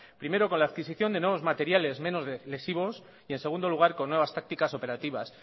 primero con la adquisición de nuevos materiales menos lesivos y en segundo lugar con nuevas tácticas operativas